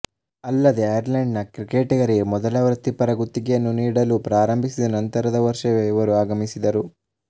ಅಲ್ಲದೇ ಐರ್ಲೆಂಡ್ ನ ಕ್ರಿಕೆಟಿಗರಿಗೆ ಮೊದಲ ವೃತ್ತಿಪರ ಗುತ್ತಿಗೆಯನ್ನು ನೀಡಲು ಪ್ರಾರಂಭಿಸಿದ ನಂತರದ ವರ್ಷವೇ ಇವರು ಆಗಮಿಸಿದರು